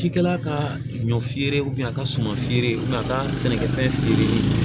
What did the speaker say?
Cikɛla ka ɲɔ feere a ka suma feere a ka sɛnɛkɛfɛn feere